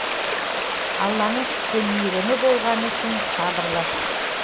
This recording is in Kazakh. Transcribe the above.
алланың түсті мейірімі болғаны үшін сабырлы